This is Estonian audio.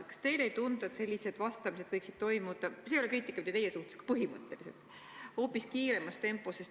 Kas teile ei tundu, et sellised vastamised võiksid toimuda – see ei ole kriitika mitte teie pihta, aga põhimõtteliselt – hoopis kiiremas tempos?